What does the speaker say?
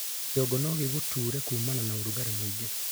kĩongo nogiguture kumana na urugari mũingĩ